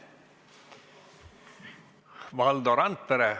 Valdo Randpere.